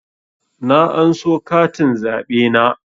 Na anso katin zaɓe na